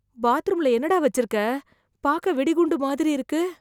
பாத்ரூம்ல என்னடா வச்சிருக்க பாக்க வெடிகுண்டு மாதிரி இருக்கு